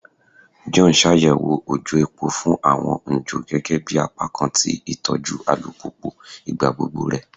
John n ṣayẹwo ojò epo fun awọn n jo gẹgẹbi apakan ti itọju alupupu igbagbogbo rẹ